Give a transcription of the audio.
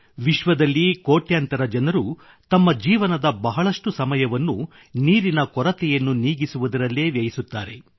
ವಿಶ್ವದಲ್ಲಿ ಕೋಟ್ಯಂತರ ಜನರು ತಮ್ಮ ಜೀವನದ ಬಹಳಷ್ಟು ಸಮಯವನ್ನು ನೀರಿನ ಕೊರತೆಯನ್ನು ನೀಗಿಸುವುದರಲ್ಲೇ ವ್ಯಯಿಸುತ್ತಾರೆ